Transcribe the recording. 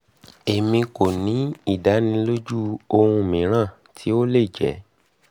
emi ko ni idaniloju ohun miiran ti o le jẹ